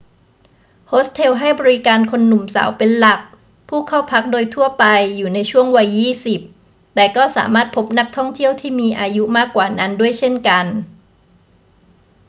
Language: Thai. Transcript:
โฮสเทลให้บริการคนหนุ่มสาวเป็นหลัก ผู้เข้าพักโดยทั่วไปอยู่ในช่วงวัยยี่สิบ แต่ก็สามารถพบนักท่องเที่ยวที่มีอายุมากกว่านั้นด้วยเช่นกัน